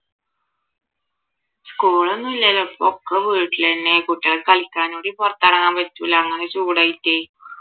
school ഒന്നും ഇല്ല ഇപ്പൊ ഒക്കെ വീട്ടിൽ തന്നെയാ കുട്ടികൾക്ക് കളിക്കാനും കൂടി പുറത്തിറങ്ങാൻ പറ്റൂല അങ്ങനെ ചൂടായിട്ടേ